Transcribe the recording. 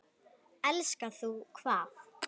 Elskar þú hvað?